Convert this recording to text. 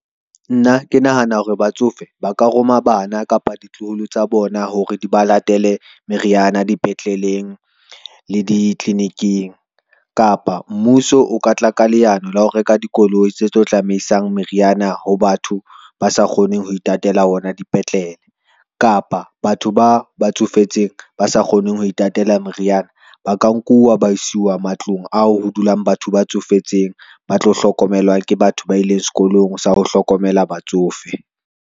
Nna ke nahana hore batsofe ba ka roma bana kapa ditloholo tsa bona, hore di ba latele meriana, dipetleleng le ditliliniking. Kapa mmuso o ka tla ka leano la ho reka dikoloi tse tlo tsamaisang meriana ho batho ba sa kgoneng ho itatela ona dipetlele, kapa batho ba ba tsofetseng, ba sa kgoneng ho itatela meriana ba ka nkuwa, ba isiuwa matlong ao ho dulang batho ba tsofetseng, ba tlo hlokomelwa ke batho ba ileng skolong sa ho hlokomela batsofe.